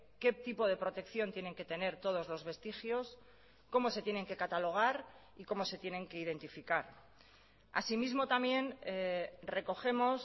qué tipo de protección tienen que tener todos los vestigios cómo se tienen que catalogar y cómo se tienen que identificar asimismo también recogemos